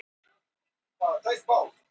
Þetta kemur fram í norskum fjölmiðlum í dag.